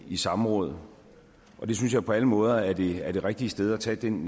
i samråd det synes jeg på alle måder er det er det rigtige sted at tage den